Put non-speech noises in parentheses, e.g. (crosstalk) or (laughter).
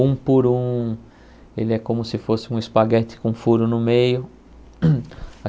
Um por um, ele é como se fosse um espaguete com furo no meio. (coughs)